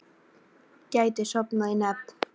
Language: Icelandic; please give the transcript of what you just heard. Gæti sofnað í nefnd